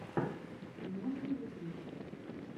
смотра ютюб